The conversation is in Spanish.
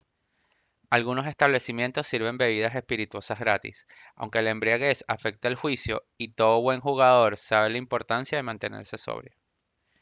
algunos establecimientos sirven bebidas espirituosas gratis aunque la embriaguez afecta el juicio y todo buen jugador sabe la importancia de mantenerse sobrio